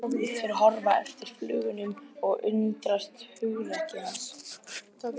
Þeir horfa á eftir fuglinum og undrast hugrekki hans.